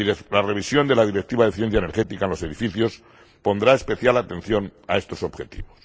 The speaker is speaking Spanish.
La revisión de la Directiva de eficiencia energética en los edificios pondrá especial atención a estos objetivos.